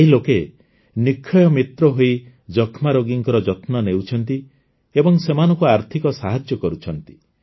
ଏହି ଲୋକେ ନିକ୍ଷ୍ୟୟ ମିତ୍ର ହୋଇ ଯକ୍ଷ୍ମାରୋଗୀଙ୍କ ଯତ୍ନ ନେଉଛନ୍ତି ଏବଂ ସେମାନଙ୍କୁ ଆର୍ଥିକ ସାହାଯ୍ୟ କରୁଛନ୍ତି